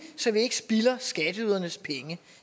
så vi ikke spilder skatteydernes penge